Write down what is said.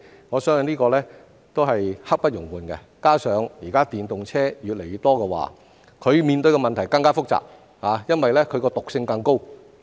我相信這也是刻不容緩的，加上現時電動車越來越多，面對的問題更加複雜，因為它的毒性更高。